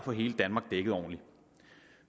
få hele danmark dækket ordentligt